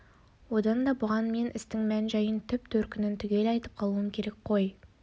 одан да бұған мен істің мән-жайын түп төркінін түгел айтып қалуым керек қой